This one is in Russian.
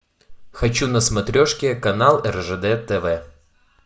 хочу на смотрешке канал ржд тв